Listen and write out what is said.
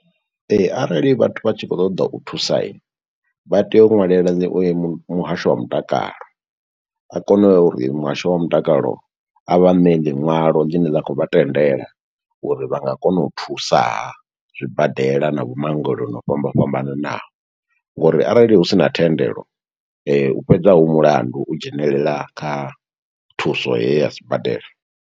Ee, arali vhathu vha tshi khou ṱoḓa u thusa, vha tea u ṅwalela ḽi mu muhasho wa mutakalo. A kone uri muhasho wa mutakalo, a vha ṋee liṅwalo ḽine ḽa khou vha tendela uri vha nga kona u thusaha, zwibadela na vho maongeloni o fhamba fhambananaho, ngo uri arali hu sina thendelo . Hu fhedza hu mulandu, u dzhenelela kha thuso heyi ya sibadela.